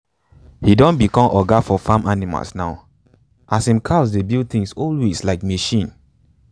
he don become oga for farm animal now as him cows dey build things always like machine.